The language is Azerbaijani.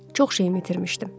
Çox şeyi itirmişdim.